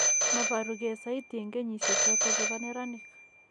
Moboru gee saiti en kenyisiek choton chebo neranik